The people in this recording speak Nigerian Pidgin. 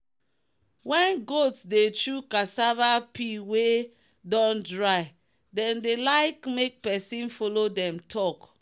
when goat dey chew cassava peel wey don dry them dey like make person follow them talk.